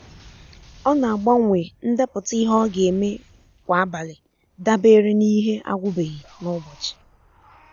ọ na-agbanwe ndepụta ihe ọ ga eme kwa abalị dabere n’ihe agwụbeghị n’ụbọchị.